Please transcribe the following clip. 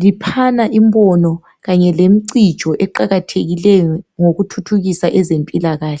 liphana imbono kanye lemcijo eqakathekileyo ngokuthuthukisa ezempilakahle.